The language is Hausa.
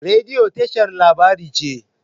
Rediyo tashar labarai ce.